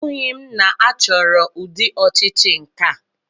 Anụghị m na achọrọ ụdị ọchịchị nkea.